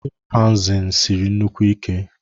Chịmpaizịn Siri nnukwu Ike